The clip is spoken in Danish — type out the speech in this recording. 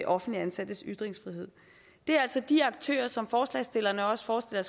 offentligt ansattes ytringsfrihed det er altså de aktører som forslagsstillerne også forestiller